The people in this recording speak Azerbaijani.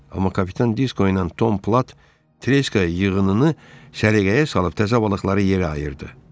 Amma kapitan Disko ilə Tom Plat Treska yığınını səliqəyə salıb təzə balıqları yerə ayırdı.